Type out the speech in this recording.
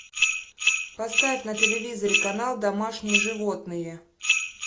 поставь на телевизоре канал домашние животные